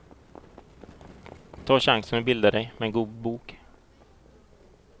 Ta chansen att bilda dig med en god bok.